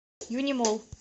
юнимолл